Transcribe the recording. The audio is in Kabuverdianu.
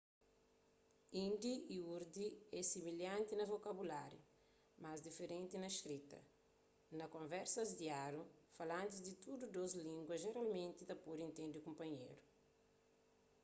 hindi y urdu é similhanti na vokabuláriu mas diferenti na skrita na konversas diáriu falantis di tudu dôs língua jeralmenti ta pode intende kunpanheru